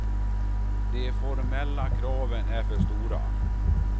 De formella kraven är för stora.